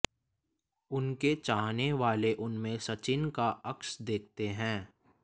उनके चाहने वाले उनमें सचिन का अक्स देखते हैं